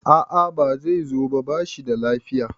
a a Bai zo ba, ba shi da lafiya